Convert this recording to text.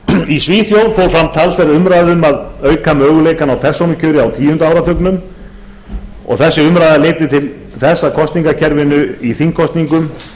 í svíþjóð fór fram talsverð umræða um að auka möguleikana á persónukjöri á tíunda áratugnum þessi umræða leiddi til þess að kosningakerfinu í þingkosningum